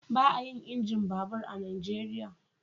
Ba a yin injin babur a Najeriya.